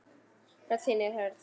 Rödd þín er hörð.